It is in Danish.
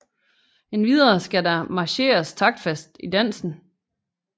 Endvidere skal der marcheres taktfast i dansen